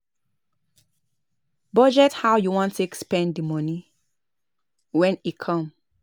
Plan how you go take raise the money and the platform wey you wan use